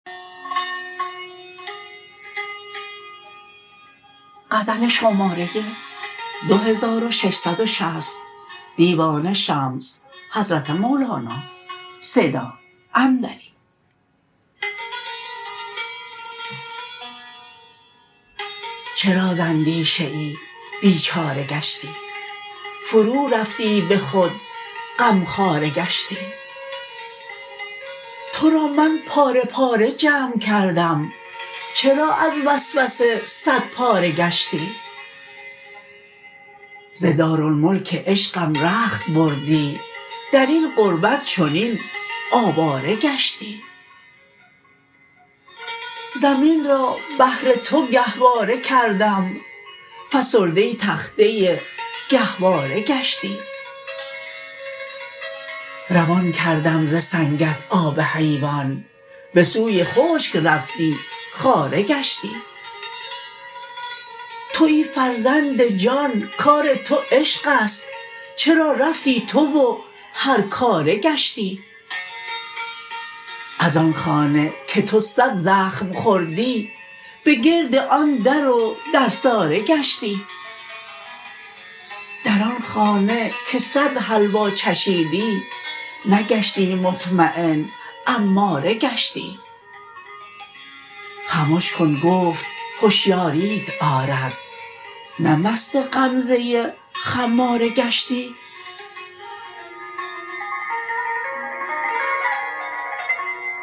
چرا ز اندیشه ای بیچاره گشتی فرورفتی به خود غمخواره گشتی تو را من پاره پاره جمع کردم چرا از وسوسه صدپاره گشتی ز دارالملک عشقم رخت بردی در این غربت چنین آواره گشتی زمین را بهر تو گهواره کردم فسرده تخته گهواره گشتی روان کردم ز سنگت آب حیوان به سوی خشک رفتی خاره گشتی توی فرزند جان کار تو عشق است چرا رفتی تو و هرکاره گشتی از آن خانه که تو صد زخم خوردی به گرد آن در و درساره گشتی در آن خانه که صد حلوا چشیدی نگشتی مطمین اماره گشتی خمش کن گفت هشیاریت آرد نه مست غمزه خماره گشتی